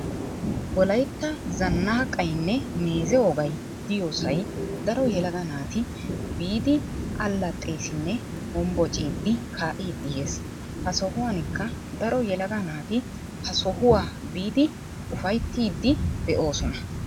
wollaytta zannaqaynne meeze wogay diyoosay daro yelaga naati biidi allaxeesinne hombbociidi kaa'idi yees. ha sohuwaanikka daro yellaga naati ha sohuwaa biidi ufayttiidi de'oosona.